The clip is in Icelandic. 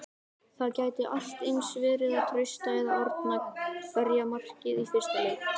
Það gæti allt eins verið að Trausti eða Árni verji markið í fyrsta leik?